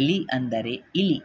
ಎಲಿ ಎಂದರೆ ಇಲಿ